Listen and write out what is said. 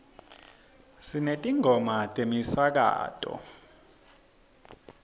sinetingoma temasiko